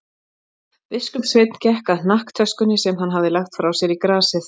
Biskupssveinn gekk að hnakktöskunni sem hann hafði lagt frá sér í grasið.